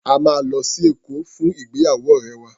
A máa lọ sí Èkó fún ìgbéyàwó ọ̀rẹ́ wa.